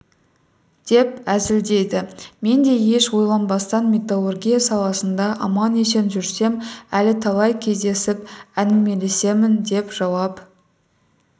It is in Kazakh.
деп әзілдейді мен де еш ойланбастан металлургия саласында аман-есен жүрсем әлі талай кездесіп әңгімелесемін деп жауап